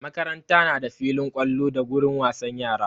Makaranta na da filin ƙwallo da gurin wasan yara.